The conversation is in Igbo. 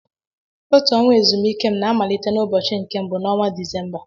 Otu ọnwa ezumike m na amalite n'ụbochi nke mbụ n'ọnwa Dịzémbá